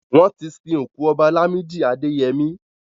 Wọ́n ti sin òkú Ọba Làmídì Adẹyẹmí.